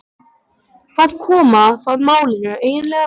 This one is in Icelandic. Hvað koma það málinu eiginlega við?